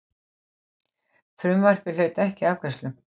Frumvarpið hlaut ekki afgreiðslu.